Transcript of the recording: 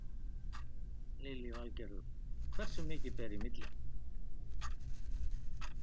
Lillý Valgerður: Hversu mikið ber í milli?